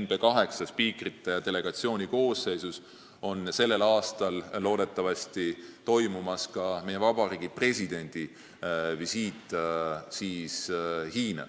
NB8 spiikrite delegatsiooni koosseisus toimub sellel aastal loodetavasti ka meie Vabariigi Presidendi visiit Hiina.